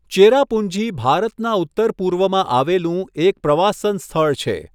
ચેરાપુંજી ભારતના ઉત્તર પૂર્વમાં આવેલું એક પ્રવાસન સ્થળ છે.